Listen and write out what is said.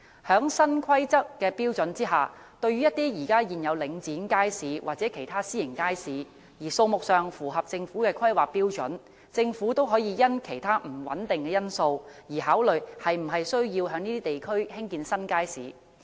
在新的《規劃標準》下，對於一些已有領展街市或其他私營街市，而數目上符合政府的《規劃標準》的地區，政府可以因其他不穩定因素而考慮是否需要在那些地區興建新街市。